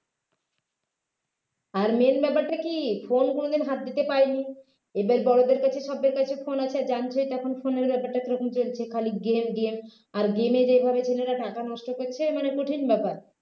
আর main ব্যাপারটা কি phone কোনও দিন হাত দিতে পারেনি এবার বড়দের কাছে সবার কাছে phone আছে জানছে তখন phone এর ব্যাপারটা কী রকম চলছে খালি game game আর game এ যেভাবে ছেলেরা টাকা নষ্ট করছে মানে কঠিন ব্যাপার